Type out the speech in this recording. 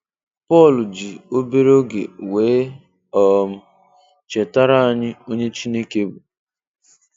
Paul ji obere oge weé um chetara anyị onye Chineke bụ